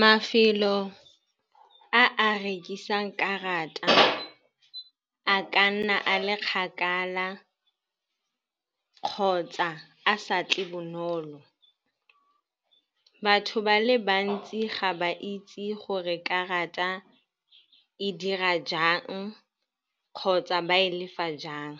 Mafelo a a rekisang karata a ka nna a le kgakala kgotsa a sa tle bonolo. Batho ba le bantsi ga ba itse gore karata e dira jang kgotsa ba e lefa jang.